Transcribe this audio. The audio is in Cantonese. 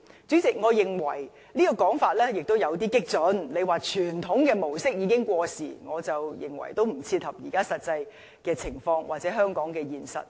主席，我認為有關傳統旅遊模式已經過時的說法有點激進，不切合現在的實際情況，或者香港的現實。